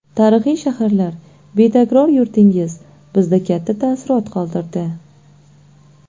Tarixiy shaharlar, betakror yurtingiz bizda katta taassurot qoldirdi.